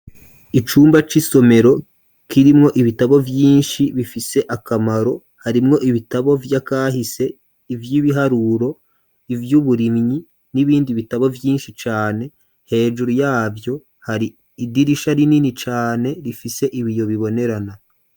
Icumba c'isomero, kirimwo ibitabo vyinshi, bifise akamaro; harimwo ibitabo vy'akahise, ivy'ibiharuro, ivy’uburimyi, n'ibindi bitabo, vyinshi cane; hejuru yavyo, hari idirisha, rinini cane, rifise ibiyo bibonerana.